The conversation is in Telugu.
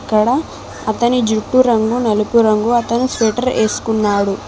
క్కడ అతని జుట్టు రంగు నలుపు రంగు అతను స్వెటర్ ఏసుకున్నాడు.